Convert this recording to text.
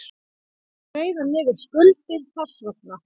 Greiða niður skuldir þess vegna.